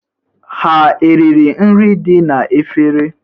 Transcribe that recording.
Ha eriri nri dị n'efere?